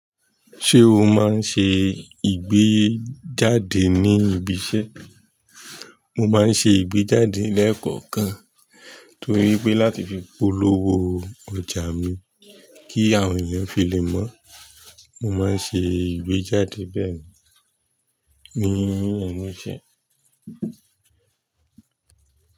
Ṣé o máa ń ṣe ìgbéjáde ní ibi iṣẹ́? Mo máa ń ṣe ìgbéjáde lẹ́kọ̀ọ̀kan torí pé láti fi polówó ọjà mi kí àwọn ènìyàn fi lè mọ̀. Mo máa ń ṣe ìgbéjáde bí ẹ̀ ní ẹ̀ẹ̀meji.